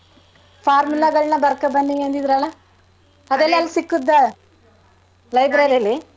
Formula ಗಳ್ನ ಬರ್ಕಬನ್ನಿ ಅಂದಿದ್ರಲ್ಲ ಸಿಕ್ಕಿದ್ ಲಿ?